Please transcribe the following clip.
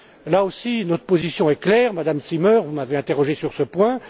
Là aussi, notre position est claire, Madame Zimmer, vous m'avez interrogé sur ce point.